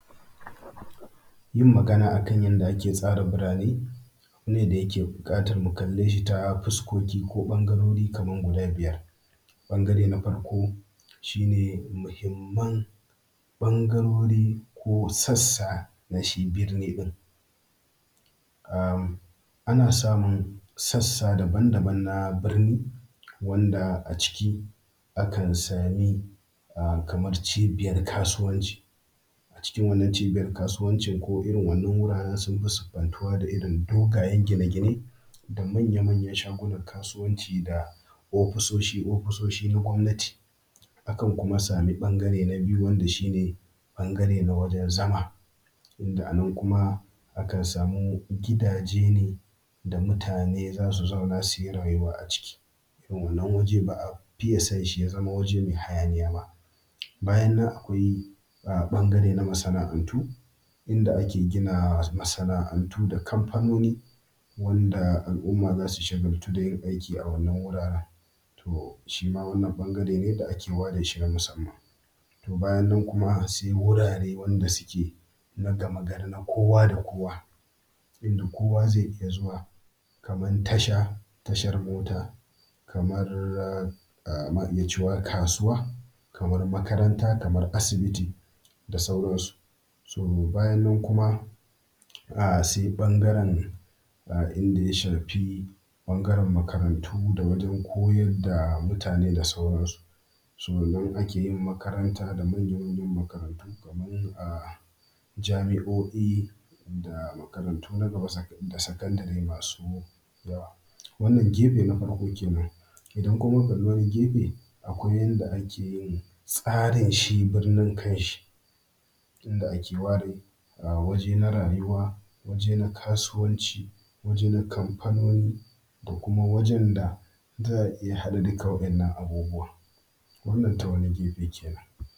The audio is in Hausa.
Yin magana akan yadda ake tsara biraane ne da yake buƙatar mu kallee shi ta fuskoki ko ɓangarori kamar gudaa biyar ɓangaree na farko shi ne muhimman ɓangarori ko sassaa na shi birni ɗin. Am ana samun sassa daban-daban na birni wanda a ciki akan sami aa kamar cibiyar kasuwanci, acikin wannan cibiyar kaasuwanci ko irin wannan wuraaren suna siffantuwa da irin dogayen gine-gine da manya-manyan shagunan kaasuwanci da ofisoshi ofisoshi na gwamnati. Akan kuma sami ɓangaree na biyu wanda shi ne ɓangaree na wajen zama, inda a nan kuma akan samu gidaaje ne da mutane za su zauna su yi raayuwa aciki, wannan waje ba a fiye son shi ya zama waje mai hayaniya ba. Bayan nan akwai am ɓangaree na masanaa'antu inda ake gina masana'antu da kamfanoni wanda al'umma za su shagaltu dai da aiki, a wannan wuraaren to shi maa wannan ɓangare ɓangaree ne da ake ware shi na musamman. To bayan nan kuma sai wuraare wanda suke na gamagari na kowa da kowa, inda kowa zai riƙa zuwa kaman tasha tashar mota kamar ma iya cewa kaasuwaa kamar makaranta kamar asibiti da sauransu. So nan akee yin makaranta da manyan makarantu kaman aa jami'o'i da makarantu na gaba da sakandaree masu yawa. Wannan gefe na farko keenan idan kuma muka kalli wani gefe akwai yadda ake yin tsarin shi birnin kan shi, inda ake ware wajee na rayuwa waje na kasuwanci waje na kamfanoni da kuma wajen da za a iya haɗa duka waɗannan abubuwan wannan ta wani gefe kenan.